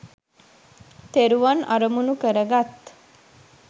තෙරුවන් අරමුණු කරගත්